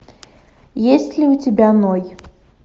есть ли у тебя ной